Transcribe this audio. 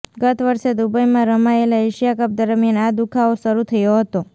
ગત વર્ષે દુબઈમાં રમાયેલા એશિયા કપ દરમિયાન આ દુખાવો શરુ થયો હતો